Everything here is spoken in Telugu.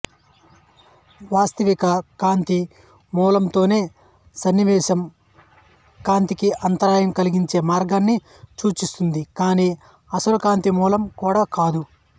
వాస్తవిక కాంతి మూలంతోనే సన్నివేశం కాంతికి అంతరాయం కలిగించే మార్గాన్ని సూచిస్తుంది కానీ అసలు కాంతి మూలం కూడా కాదు